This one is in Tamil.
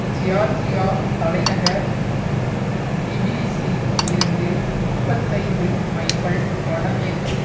ஜியார்ஜியா தலைநகர் டிபிலிஸில் இருந்து முப்பத்தைந்து மைல்கள் வடமேற்கில்